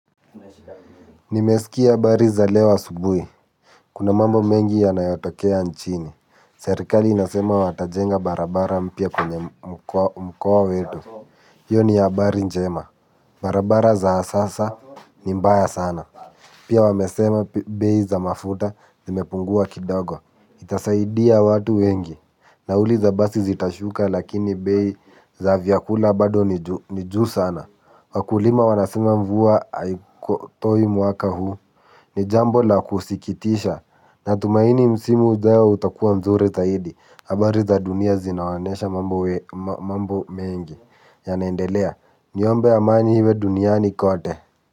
Nimesikia habari za leo asubuhi. Kuna mambo mengi yanayotokea nchini. Serikali inasema watajenga barabara mpya kwenye mkoa wetu. Hiyo ni habari njema. Barabara za sasa ni mbaya sana. Pia wamesema bei za mafuta zimepungua kidogo. Itasaidia watu wengi. Nauli za basi zitashuka lakini bei za vyakula bado ni juu sana. Wakulima wanasema mvua haikotoi mwaka huu ni jambo la kusikitisha. Natumaini msimu ujay utakuwa mzuri zaidi. Habari za dunia zinaonesha mambo mengi yanaendelea niombe amani iwe duniani kote.